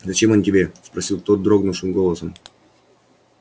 зачем он тебе спросил тот дрогнувшим голосом